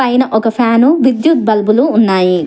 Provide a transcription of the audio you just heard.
పైన ఒక ఫ్యాను విద్యుత్ బల్బులు ఉన్నాయి.